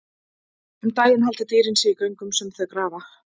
Um daginn halda dýrin sig í göngum sem þau grafa.